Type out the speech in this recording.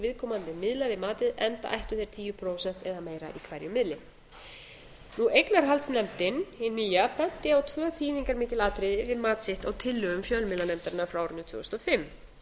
viðkomandi miðla við matið enda ættu þeir tíu prósent eða meira í hverjum miðli eignarhaldsnefndin hin nýja benti á tvö þýðingarmikil atriði við mat sitt á tillögum fjölmiðlanefndarinnar frá árinu tvö þúsund og fimm